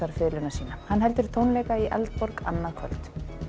fiðluna sína hann heldur tónleika í Eldborg annað kvöld